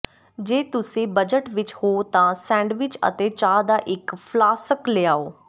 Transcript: ਜੇ ਤੁਸੀਂ ਬਜਟ ਵਿਚ ਹੋ ਤਾਂ ਸੈਂਡਵਿਚ ਅਤੇ ਚਾਹ ਦਾ ਇੱਕ ਫਲਾਸਕ ਲਿਆਓ